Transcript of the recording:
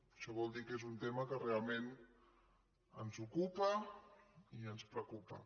això vol dir que és un tema que realment ens ocupa i ens preocupa